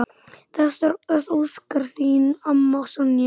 Þess óskar þín amma, Sonja.